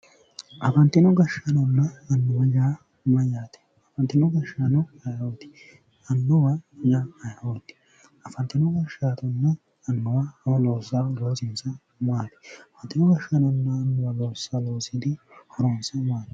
Afantino gashshaanonna annuwa yaa mayyaate? afantino gashshaano ayeeooti? afantino gashshaanonna annuwi maa loossa loosaahu loosinsa maati ? afantino gashshaano loossa loosinni horonsa maati?